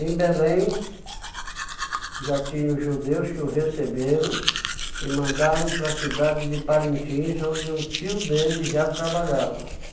Em Belém, já tinha os judeus que o receberam e mandaram para a cidade de Parintins, onde um tio dele já trabalhava.